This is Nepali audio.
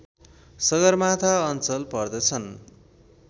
सगरमाथा अञ्चल पर्दछन्